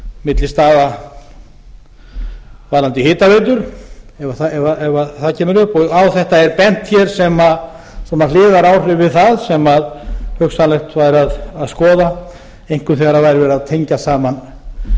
milli staða varðandi hitaveitur ef það kemur upp á þetta er bent hér sem hliðaráhrif við það sem hugsanlegt væri að skoða einkum þegar væri verið að tengja saman